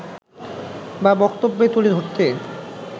বা বক্তব্য তুলে ধরতে